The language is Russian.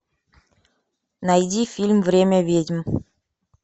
найди фильм время ведьм